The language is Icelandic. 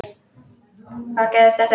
Hvað gerist eftir það?